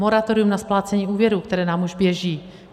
Moratorium na splácení úvěrů, které nám už běží.